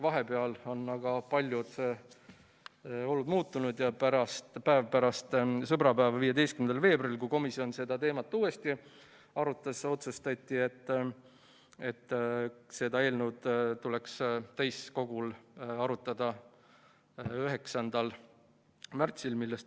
Vahepeal on aga paljud olud muutunud ja päev pärast sõbrapäeva, 15. veebruaril, kui komisjon seda teemat uuesti arutas, otsustati, et seda eelnõu tuleks täiskogul arutada 9. märtsil.